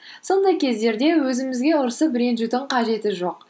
сондай кездерде өзімізге ұрысып ренжудің қажеті жоқ